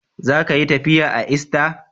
Za ka yi tafiya a ista.